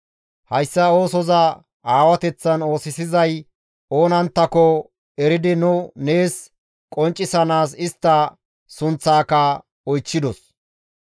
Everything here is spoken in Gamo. Hayssa oosoza aawateththan oosisizay oonanttako eridi nu nees qonccisanaas istta sunththaaka oychchidos.